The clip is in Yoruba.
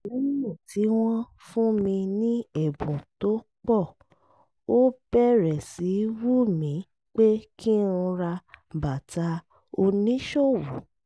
lẹ́yìn tí wọ́n fún mi ní ẹ̀bùn tó pọ̀ ó bẹ̀rẹ̀ sí í wù mí pé kí n ra bàtà oníṣòwò